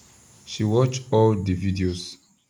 she watch all the videos